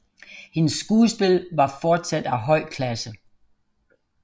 Hendes skuespil var fortsat af høj klasse